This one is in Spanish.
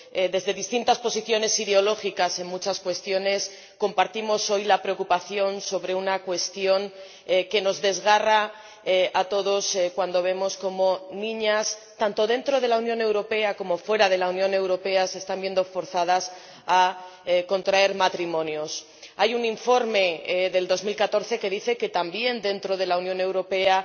Desde distintas posiciones ideológicas en muchas cuestiones, compartimos hoy la preocupación sobre una cuestión que nos desgarra a todos cuando vemos cómo niñas, tanto dentro de la Unión Europea como fuera de la Unión Europea, se están viendo forzadas a contraer matrimonio. Hay un informe de 2014 que dice que también dentro de la Unión Europea